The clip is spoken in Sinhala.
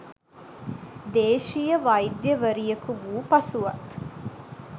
දේශීය වෛද්‍යවරියක වූ පසුවත්